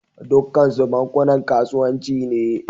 Dukkansu bankunan kasuwanci ne